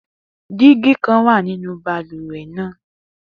Digi kan wa ninu baluwe naa